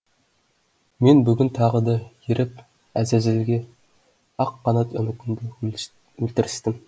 мен бүгін тағы да еріп әзәзілге ақ қанат үмітімді өлтірістім